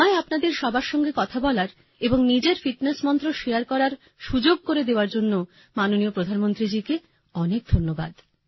আমায় আপনাদের সবার সঙ্গে কথা বলার এবং নিজের ফিটনেস মন্ত্র শারে করার সুযোগ করে দেওয়ার জন্য মাননীয় প্রধানমন্ত্রীজিকে অনেক ধন্যবাদ